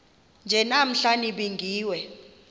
nje namhla nibingiwe